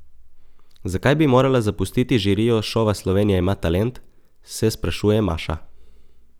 Zakaj bi morala zapustiti žirijo šova Slovenija ima talent, se sprašuje Maša.